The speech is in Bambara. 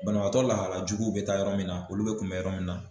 Banabatɔ lahala juguw bɛ taa yɔrɔ min na, olu bɛ kunbɛ yɔrɔ min na.